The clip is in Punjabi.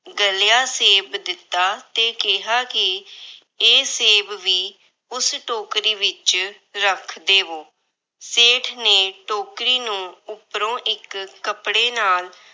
ਗਲਿਆ ਸੇਬ ਦਿੱਤਾ ਤੇ ਕਿਹਾ ਕਿ ਇਹ ਸੇਬ ਵੀ ਉਸ ਟੋਕਰੀ ਵਿੱਚ ਰੱਖ ਦੇਵੋ। ਸੇਠ ਨੇ ਟੋਕਰੀ ਨੂੰ ਉਪਰੋਂ ਇੱਕ ਕੱਪੜੇ ਨਾਲ